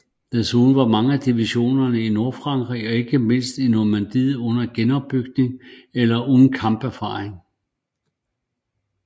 Desuden var mange af divisionerne i Nordfrankrig og ikke mindst i Normandiet under genopbygning eller uden kamperfaring